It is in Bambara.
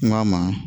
N k'a ma